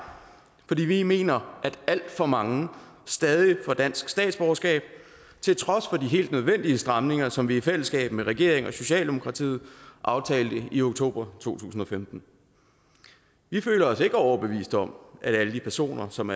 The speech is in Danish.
fordi vi mener at alt for mange stadig får dansk statsborgerskab til trods for de helt nødvendige stramninger som vi i fællesskab med regeringen og socialdemokratiet aftalte i oktober to tusind og femten vi føler os ikke overbevist om at alle de personer som